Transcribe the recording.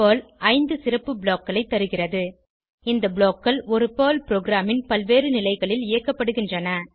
Perl 5 சிறப்பு block களை தருகிறது இந்த blockகள் ஒரு பெர்ல் ப்ரோகிராமின் பல்வேறு நிலைகளில் இயக்கப்படுகின்றன